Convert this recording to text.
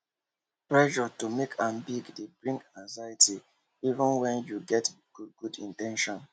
pressure to make am big dey bring anxiety even when yu get good good in ten tions